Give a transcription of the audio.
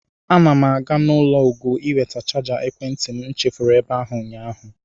Ana m aga n'ụlọ Ugo ịweta chaja ekwentị m chefuru ebe ahụ ụnyaahụ.